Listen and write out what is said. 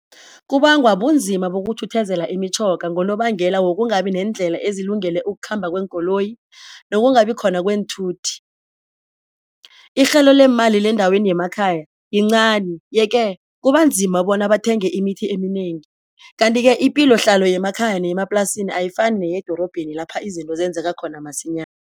Kubangwa bunzima imitjhoga ngonobangela wokungabi neendlela ezilungele ukukhamba kweenkoloyi nokungabi khona kweenthuthi. Irhelo leemali lendaweni yemakhaya yincani yeke kubanzima bona bathenge imithi eminengi. Kanti-ke ipilohlalo yemakhaya neyemaplasini ayifani neyedorobheni lapha izinto zenzeka khona masinya